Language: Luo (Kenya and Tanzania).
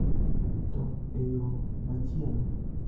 to e yo machielo